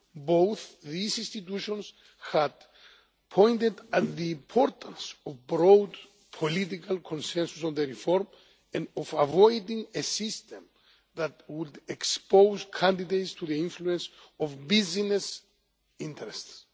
Both these institutions had pointed towards the importance of broad political consensus on the reform, and of avoiding a system that would expose candidates to the influence of business interests.